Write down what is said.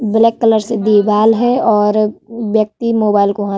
black colour से दीवाल है और व्यक्ति मोबाइल को हाथ --